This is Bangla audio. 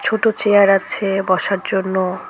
দুটো চেয়ার আছে বসার জন্য।